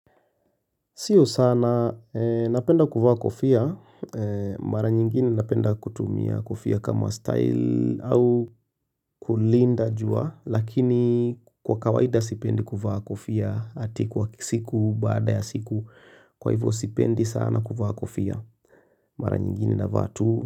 Sio sana, napenda kuvaa kofia, mara nyingine napenda kutumia kofia kama style au kulinda jua, lakini kwa kawaida sipendi kufaa kofia ati kwa siku baada ya siku, kwa hivyo sipendi sana kuvaa kofia, mara nyingine navaa tu.